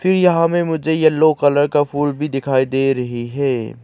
यहां में मुझे येलो कलर का फूल भी दिखाई दे रही है।